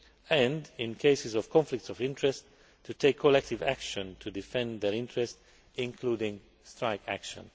and, in cases of conflicts of interest, to take collective action to defend their interests, including strike action.